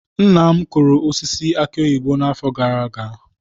Nna m kụrụ osisi aki oyibo n'afọ gara aga.